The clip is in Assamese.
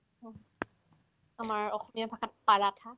আমাৰ অসমীয়া ভাষাত পাৰাঠা